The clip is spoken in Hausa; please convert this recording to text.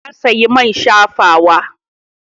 Ta sayi man shafawa.